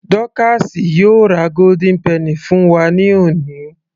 Dọ́káásì yóò ra golden penny fún wa ní òní